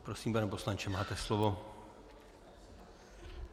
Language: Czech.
Prosím, pane poslanče, máte slovo.